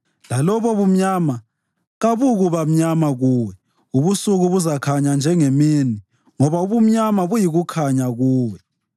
lalobo bumnyama kabukuba mnyama kuwe; ubusuku buzakhanya njengemini, ngoba ubumnyama buyikukhanya kuwe.